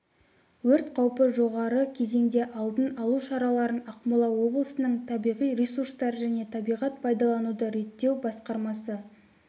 өрт қаупі жоғары кезеңде алдын алу шараларын ақмола облысының табиғи ресурстар және табиғат пайдалануды реттеу басқармасы